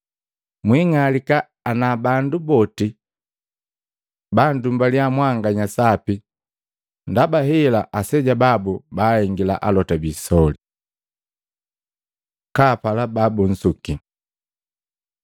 “Mwiing'alika ana bandu boti bandumbalya mwanganya sapi! Ndaba hela ndi aseja babu baahengila alota biisoli.” Kapala babunsuki Matei 5:38-48; 7:12a